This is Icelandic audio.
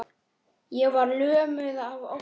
Ég var lömuð af ótta.